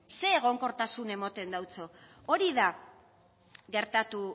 ze egonkortasun emoten deutso hori da gertatu